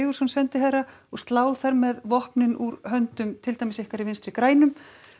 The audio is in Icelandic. sendiherra og slá þar með vopnin úr höndum til dæmis ykkar í Vinstri grænum